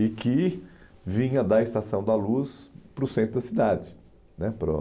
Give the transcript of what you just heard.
E que vinha da Estação da Luz para o centro da cidade.